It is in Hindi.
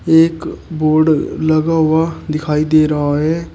एक बोर्ड लगा हुआ दिखाई दे रहा है।